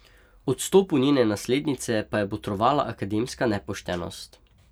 Odstopu njene naslednice pa je botrovala akademska nepoštenost.